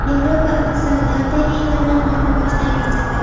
Yevropa iqtisodiyoti eng yomon oyni boshdan kechirdi.